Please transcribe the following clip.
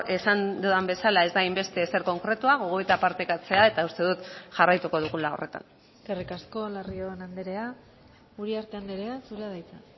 esan dudan bezala ez da hainbeste ezer konkretua gogoeta partekatzea eta uste dut jarraituko dugula horretan eskerrik asko larrion andrea uriarte andrea zurea da hitza